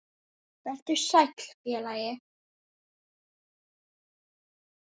Vertu sæll, félagi.